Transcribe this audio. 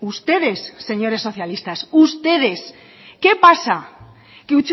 ustedes señores socialistas ustedes qué pasa que